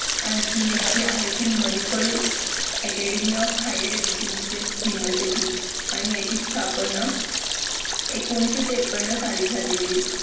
आणखीन एक जी आहे कि muniple academy of higher educational university आणि याची स्थापना एकोणविशे त्रेपन्न साली झालेली